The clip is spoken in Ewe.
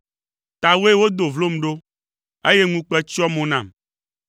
Tawòe wodo vlom ɖo, eye ŋukpe tsyɔ mo nam.